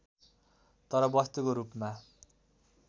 तर वस्तुको रूपमा